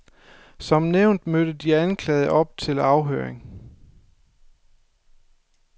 Som nævnt mødte de anklagede op til afhøring.